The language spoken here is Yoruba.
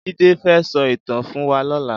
Jide fè sò itàn fún wà lòlá